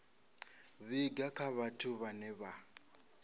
vhiga kha vhathu vhane vha